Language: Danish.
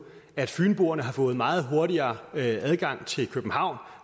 at fynboerne har fået meget hurtigere adgang til københavn